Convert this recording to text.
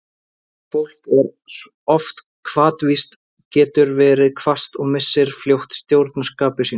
Þetta fólk er oft hvatvíst, getur verið hvasst og missir fljótt stjórn á skapi sínu.